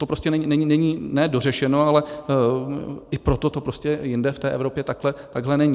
To prostě není ne dořešeno, ale i proto to prostě jinde v té Evropě takhle není.